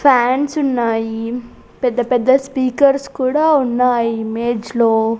ఫ్యాన్సున్నాయి పెద్ద పెద్ద స్పీకర్స్ కూడా ఉన్నాయి ఇమేజ్ లో .